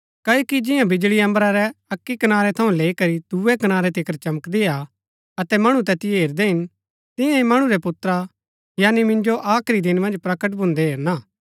क्ओकि जिंआं बिजळी अम्बरा रै अक्की कनारै थऊँ लैई करी दूये कनारै तिकर चमकदी हा अतै मणु तैतिओ हेरदै हिन तियां ही मणु रै पुत्रा यानी मिन्जो आखरी दिन मन्ज प्रकट भून्दै हेरणा